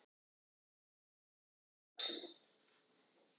Ég krefst þess að allir slappi af og hvíli sig til morguns.